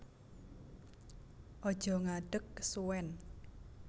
Aja ngadeg kesuwèn